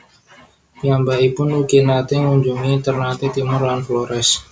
Piyambakipun ugi naté ngunjungi Ternate Timor lan Flores